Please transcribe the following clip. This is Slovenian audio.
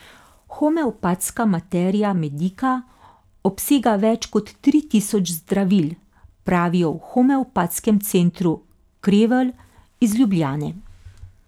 Homeopatska materija medika obsega več kot tri tisoč zdravil, pravijo v Homeopatskem centru Krevel iz Ljubljane.